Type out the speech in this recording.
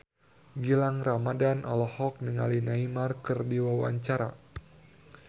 Gilang Ramadan olohok ningali Neymar keur diwawancara